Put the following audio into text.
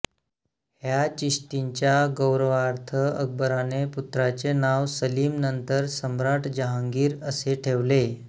ह्या चिश्तींच्या गौरवार्थ अकबराने पुत्राचे नाव सलीम नंतर सम्राट जहांगीर असे ठेवले